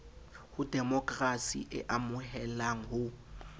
ho demokrasi e amohelang ho